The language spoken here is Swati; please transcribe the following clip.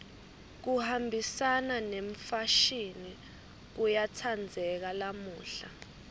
kuhambisana nemfashini kuyatsandzeka lamuhla